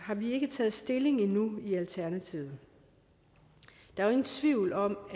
ikke taget stilling endnu i alternativet der er ingen tvivl om